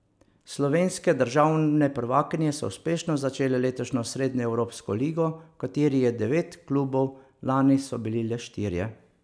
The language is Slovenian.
Slovenske državne prvakinje so uspešno začele letošnjo srednjeevropsko ligo, v kateri je devet klubov, lani so bili le štirje.